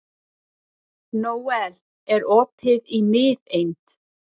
Nóel, er opið í Miðeind?